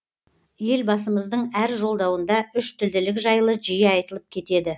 елбасымыздың әр жолдауында үштілділік жайлы жиі айтылып кетеді